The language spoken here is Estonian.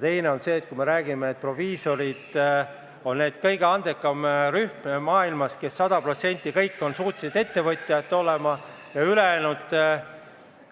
Teine asi on see, kui me räägime, et proviisorid on justkui see kõige andekam rühm maailmas: 100% kõik on suutelised ettevõtjad olema, ülejäänud